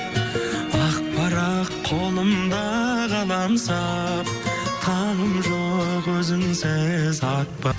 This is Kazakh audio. ақ парақ қолымда қаламсап таңым жоқ өзіңсіз